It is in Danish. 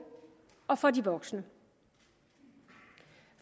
og for de voksne